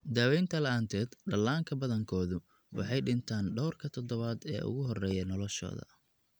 Daawaynta la'aanteed, dhallaanka badankoodu waxay dhintaan dhawrka toddobaad ee ugu horreeya noloshooda.